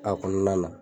A kɔnɔna na